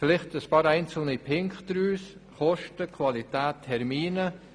Vielleicht zu ein paar einzelnen Punkten: Kosten, Qualität, Termine.